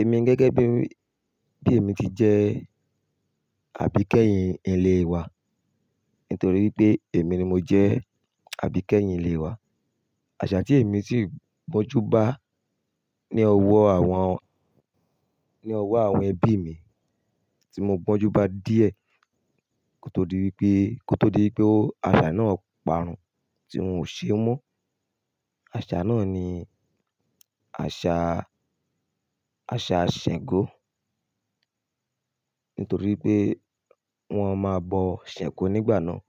Èmi gẹ́gẹ́ bí, bí èmi ti jẹ́ àbíkẹ́yìn ilé wa nítorí pé èmi ni mo jẹ àbíkẹ́yìn ilé wa. Àṣà tí èmi sì gbọ́njú bá ní ọwọ́ àwọn, ní ọwọ́ àwọn ẹbí mi tí mo gbọ́njú bá díẹ̀ kó tó di wípé, kó tó di wípé àṣà náà parun tí wọn ò ṣe mọ́. Àṣà náà ni àṣà, àṣà Ṣàngó. Nítorí pé wọ́n máa bọ Ṣàngó nígbà náà.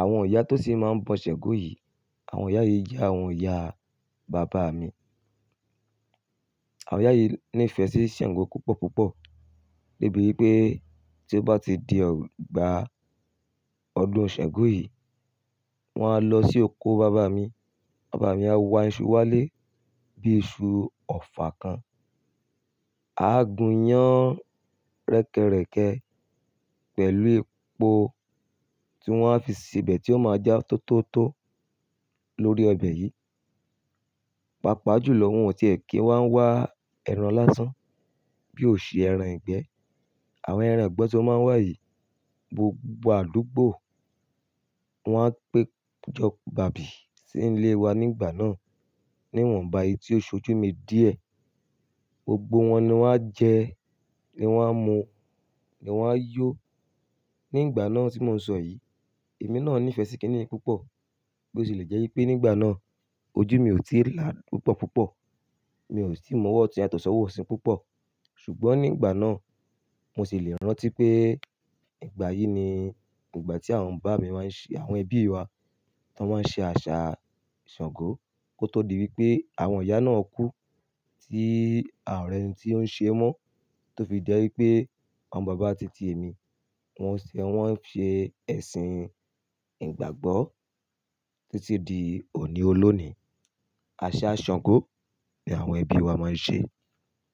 Àwọn ìyá tó sì máa ń bọ Ṣàngó yìí, àwọn ìyá yìí jẹ́ àwọn ìyá bàbá mi. Àwọn ìyá yìí ní ìfẹ́ sí Ṣàngó púpọ̀ púpọ̀ débi wípé tí ó bá ti di ọgbà ọdún Ṣàngó yìí, wọ́n á lọ sí oko bàbá mi. Bàbá mi á wá iṣu wálé bí i iṣu ọ̀fa kan. A á gún iyán rẹ́kẹrẹ́kẹ pẹ̀lú epo tí wọ́n á fi síbẹ̀ tí ó máa jẹ́ tó tó tó lórí ọbẹ̀ yìí. Pápá jù lọ, wọn tíẹ ki wá ń wá ẹran lásán bí ó ṣe ẹran ìgbẹ́. Àwọn ẹran ìgbẹ́ tan máa ń wà yìí, gbogbo àdúgbò wọ́n á péjọ bàbì sí ilé wa nígbà náà níwọ̀nba eyìí tí ó ṣojú mi díẹ̀. Gbogbo wọn ni wọ́n á jẹ, ni wọ́n á mu, ni wọ́n á yọ nígbà náà tí mò ń sọ yìí. Èmi náà ní ìfẹ́ sí kí nì í púpọ̀ bó ti lè jẹ́ wípé nígbà náà ojú mi ò tí ì lá púpọ̀ púpọ̀. Mi ò sì tii mọ ọwọ́ otun yató ṣọwọ́ ọ̀sì púpọ̀. Ṣùgbọ́n nígbà náà mo sì lè rántí pé ìgbà yìí ni ìgbà tí àwọn bàbá mi máa ń ṣe, àwọn ẹbí wa tan máa ń ṣe àṣà Ṣàngó kó tó di wípé àwọn ìyá náà kú tí àà ri ẹ́ni tí ó ń ṣe mọ́ tó fi jẹ́ wípé àwọn bàbá titi èmi wọn ṣe, wọ́n ń ṣe ẹ̀sìn ìgbàgbọ́ títí di òní olónìí. Aṣa Ṣàngó ni àwọn ẹbí wa máa ń ṣe.